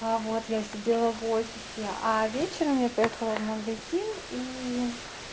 а вот я сидела в офисе а вечером я поехала в магазин и